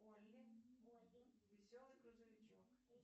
олли веселый грузовичок